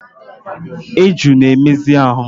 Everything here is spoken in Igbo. Eju na-emezi ahụ.